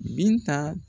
Binta